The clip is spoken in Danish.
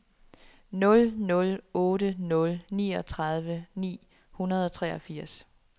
nul nul otte nul niogtredive ni hundrede og treogfirs